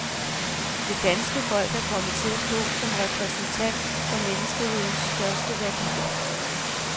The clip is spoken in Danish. Det danske folk er kommet til at stå som repræsentant for menneskehedens største værdier.